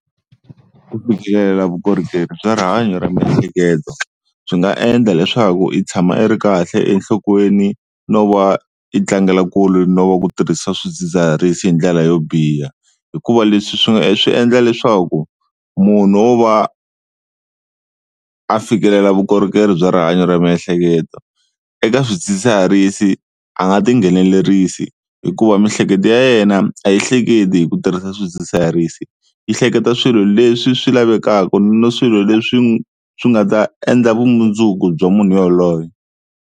Ku fikelela vukorhokeri bya rihanyo ra miehleketo swi nga endla leswaku i tshama a ri kahle enhlokweni no va i tlangela kule no va ku tirhisa swidzidziharisi hi ndlela yo biha. Hikuva leswi swi swi endla leswaku munhu wo va a fikelela vukorhokeri bya rihanyo ra miehleketo eka swidzidziharisi a nga tinghenelerisa, hikuva miehleketo yena a yi hleketi hi ku tirhisa swidzidziharisi yi hleketa swilo leswi swi lavekaka na swilo leswi swi nga ta endla vumundzuku bya munhu yaloye.